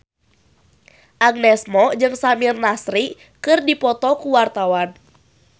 Agnes Mo jeung Samir Nasri keur dipoto ku wartawan